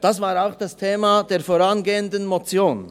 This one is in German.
Dies war auch das Thema der vorangehenden Motion.